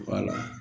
Wala